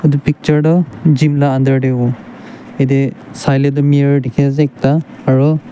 tuh picture duh gym la under dey huwo yedeh sai leh duh mirror dikhi ase ekta aroh--